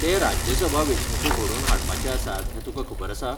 ते राज्यसभा वेंचणूको घडोवन हाडपाचे आसात हें तुका खबर आसा?